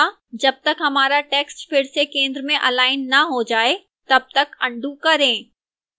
जब तक हमारा text फिर से centre में अलाइन न हो जाए तब तक अन्डू करें